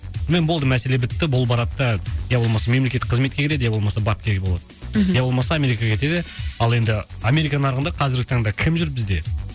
болды мәселе бітті бұл барады да ия болмаса мемлекеттік қызметке кіреді ия болмаса бапкер болады ия болмаса америкаға кетеді ал енді америка нарығында қазіргі таңда кім жүр бізде